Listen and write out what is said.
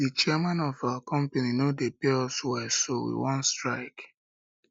the chairman of our company no dey pay us well so we wan strike